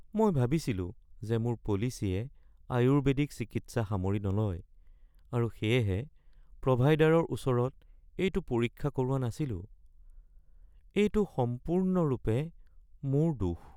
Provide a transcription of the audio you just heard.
মই ভাবিছিলো যে মোৰ পলিচীয়ে আয়ুৰ্বেদিক চিকিৎসা সামৰি নলয় আৰু সেয়েহে প্ৰভাইডাৰৰ ওচৰত এইটো পৰীক্ষা কৰোৱা নাছিলো। এইটো সম্পূৰ্ণৰূপে মোৰ দোষ